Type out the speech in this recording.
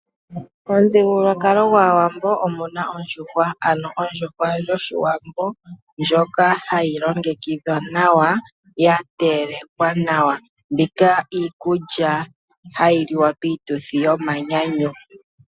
Omuthigululwakalo gwAawambo omuna oondjuhwa. Ondjuhwa yOshiwambo ndjoka hayi longekidhwa nawa ya telekwa nawa, mbika iikulya hayi liwa piituthi yomanyanyu.